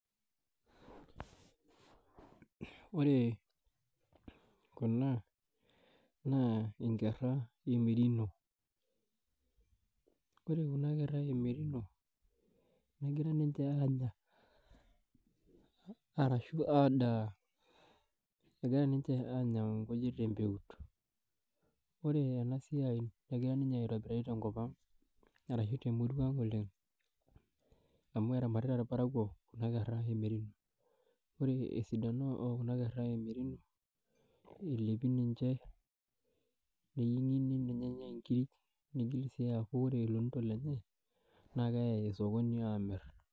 Ore kuna na nkera e merino ,ore kuna kera e merino negira ninche anya arashu adaa ,egira ninche anya nkujit tempeut ore enasiai egira ninye aitobirari tenkop aang ashu tenurua aang oleng amu eramatita irparakuo kuna kera e merino ore esidano e kuna kera e merino elepi ninche, neyiengi nenyae nkirik nigil sii aku ore lonito lenye na keyae osokoni amir